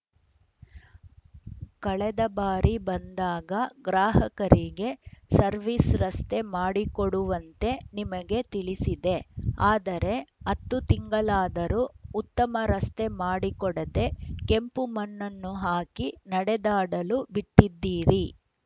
ಕಳೆದ ಬಾರಿ ಬಂದಾಗ ಗ್ರಾಹಕರಿಗೆ ಸರ್ವಿಸ್ ರಸ್ತೆ ಮಾಡಿಕೊಡುವಂತೆ ನಿಮಗೆ ತಿಳಿಸಿದೆ ಆದರೆ ಹತ್ತು ತಿಂಗಳಾದರೂ ಉತ್ತಮ ರಸ್ತೆ ಮಾಡಿಕೊಡದೇ ಕೆಂಪು ಮಣ್ಣನ್ನು ಹಾಕಿ ನಡೆದಾಡಲು ಬಿಟ್ಟಿದ್ದೀರಿ